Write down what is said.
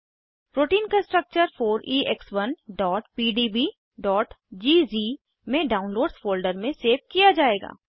protein का structure 4ex1pdbज़ में डाउनलोड्स फोल्डर में सेव किया जायेगा